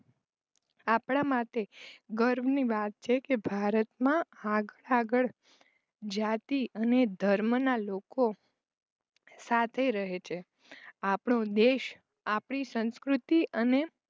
આપણા માટે ગર્વની વાત છે કે ભારતમાં માળખાગત જાતી અને ધર્મના લોકો સાથે રહે છે આપણે દેશ આપણી સંસ્કૃતિ અને